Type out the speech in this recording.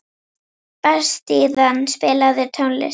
Bastían, spilaðu tónlist.